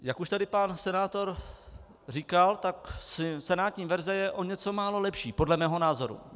Jak už tady pan senátor říkal, tak senátní verze je o něco málo lepší, podle mého názoru.